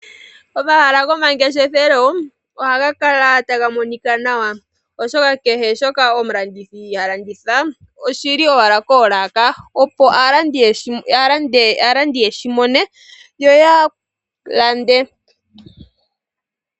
Omahala gomangeshefelo oha gakala taga monika nawa, oshoka kehe shoka omulandithi halanditha oshili owala koolaka opo aalandi yeshimone yo yalande.